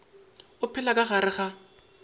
o phela ka gare ga